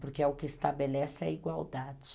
Porque é o que estabelece a igualdade.